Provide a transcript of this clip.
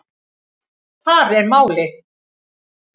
Þar er málið.